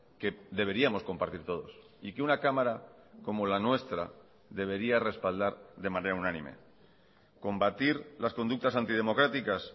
que deberíamos compartir todos y que una cámara como la nuestra debería respaldar de manera unánime combatir las conductas antidemocráticas